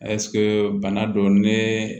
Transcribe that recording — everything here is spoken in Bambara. bana don ne